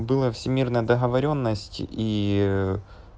была всемирная договорённость и